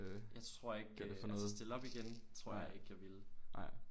Jeg tror ikke øh altså stille op igen det tror jeg ikke jeg ville